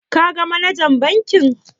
Ka ga manajan bankin?